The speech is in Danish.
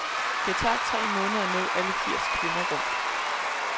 Det tager tre måneder at nå alle firs kvinder rundt.